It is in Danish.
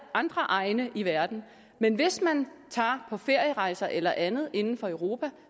andre egne i verden men hvis man tager på ferierejser eller andet inden for europa